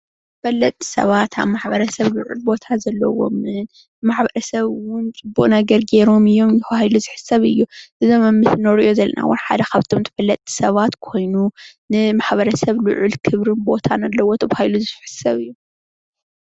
ተፈለጥቲ ሰባት ኣብ ማሕበረሰብ ልዑል ቦታ ዘለዎም ንማሕበረ ሰብ እውን ፅቡቅ ኣገልጊሎም እዮም ተባሂሉ ዝሕሰብ እዩ፡፡ ኣብዚ እንሪኦ ዘለና እውን ሓደ ካብቶም ተፈለጥቲ ሰባት ብማሕበረሰብ ልዑል ቦታን ክብርን ኣለዎ ተባሂሉ ዝሕሰብ እዩ፡፡